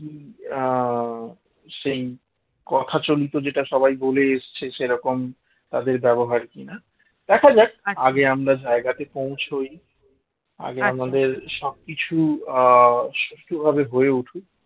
সেই কথা চলিত যেটা সবাই বলে এসেছে সেরকম তাদের ব্যবহার কিনা দেখা যাক আগে আমরা জায়গাতে পৌঁছই আগে আমাদের সবকিছু আহ সুষ্ঠুভাবে হয়ে উঠুক